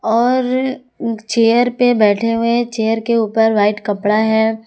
और चेयर पर बैठे हुए चेयर के ऊपर वाइट कपड़ा है।